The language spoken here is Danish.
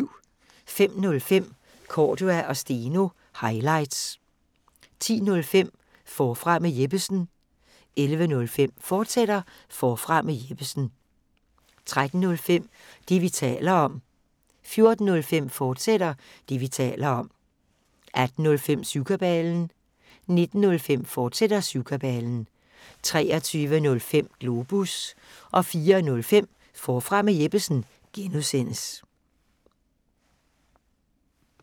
05:05: Cordua & Steno – highlights 10:05: Forfra med Jeppesen 11:05: Forfra med Jeppesen, fortsat 13:05: Det, vi taler om 14:05: Det, vi taler om, fortsat 18:05: Syvkabalen 19:05: Syvkabalen, fortsat 23:05: Globus 04:05: Forfra med Jeppesen (G)